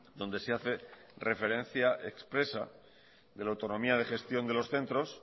donde se hace referencia expresa de la autonomía de gestión de los centros